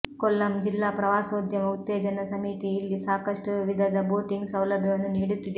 ಕೊಲ್ಲಂ ಜಿಲ್ಲಾ ಪ್ರವಾಸೋದ್ಯಮ ಉತ್ತೇಜನ ಸಮೀತಿ ಇಲ್ಲಿ ಸಾಕಷ್ಟು ವಿಧದ ಬೋಟಿಂಗ್ ಸೌಲಭ್ಯವನ್ನು ನೀಡುತ್ತಿದೆ